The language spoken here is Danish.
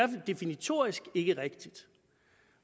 definitorisk ikke er rigtigt